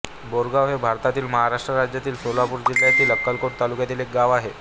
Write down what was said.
बोरेगाव हे भारतातील महाराष्ट्र राज्यातील सोलापूर जिल्ह्यातील अक्कलकोट तालुक्यातील एक गाव आहे